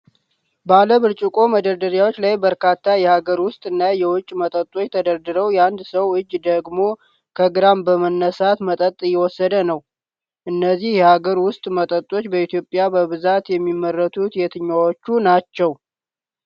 ባለብርጭቆ መደርደሪያዎች ላይ በርካታ የሀገር ውስጥ እና የውጭ መጠጦች ተደርድረው የአንድ ሰው እጅ ደግሞ ከግራ በመነሳት መጠጥ እየወሰደ ነው። እነዚህ የሀገር ውስጥ መጠጦች በኢትዮጵያ በብዛት የሚመረቱት የትኛዎቹ ናቸው?